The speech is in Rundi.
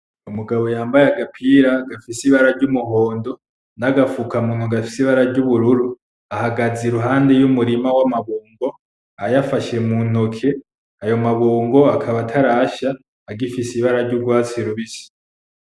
Umugabo yambaye agapira gafise ibara ry'Umuhondo, nagafuka munwa gafise ibara ry'ubururu ahagaze impande y'umurima w'amabungo ayafashe muntoke ayo mabungo akaba atarasha agifise ibara ry'urwatsi rubisi.